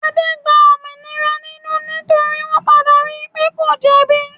Adé gba òmìnira nínú nítorí wọ́n padà ri pé kò jẹ̀bi.